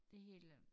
Det helt øh